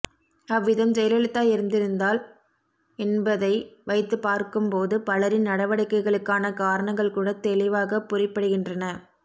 அவ்விதம் ஜெயலலிதா இறந்திருந்தால் என்பதை வைத்துப்பார்க்கும்போது பலரின் நடவடிக்கைகளுக்கான காரணங்கள்கூடத் தெளிவாகப்புரிபடுகின்றன